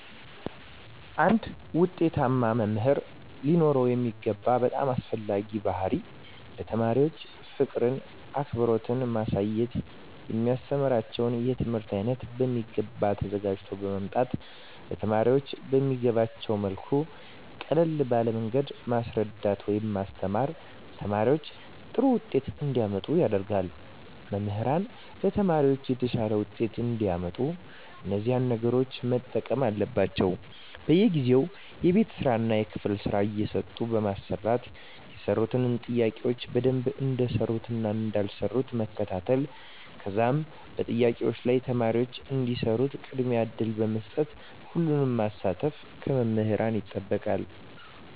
አንድ ዉጤታማ መምህር ሊኖረዉ የሚገባ በጣም አስፈላጊዉ ባህሪይ ለተማሪዎች ፍቅርን አክብሮትን ማሳየት የሚያስተምራቸዉን የትምህርት አይነት በሚገባ ተዘጋጅተዉ በመምጣት ለተማሪዎች በሚገቧቸዉ መልኩ ቀለል ባለ መንገድ ማስረዳት ወይም ማስተማር ተማሪዎች ጥሩ ዉጤት እንዲያመጡ ያደርጋል መምህራን ለተማሪዎች የተሻለ ዉጤት እንዲያመጡ እነዚህን ነገሮች መጠቀም አለባቸዉ በየጊዜዉ የቤት ስራእና የክፍል ስራ እየሰጡ በማሰራት የሰሩትን ጥያቄዎች በደንብ እንደሰሩትእና እንዳልሰሩት መከታተል ከዛም በጥያቄዎች ላይ ተማሪዎች እንዲሰሩት ቅድሚያ እድል በመስጠት ሁሉንም ማሳተፍ ከመምህራን ይጠበቃል